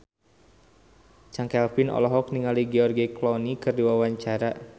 Chand Kelvin olohok ningali George Clooney keur diwawancara